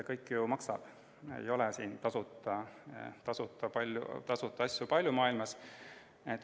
Kõik ju maksab, tasuta asju ei ole siin maailmas palju.